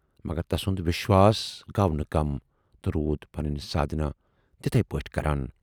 مگر تَسُند وٮ۪شواس گَو نہٕ کَم تہٕ روٗد پنٕنۍ سادھنا تِتھٕے پٲٹھۍ کَران۔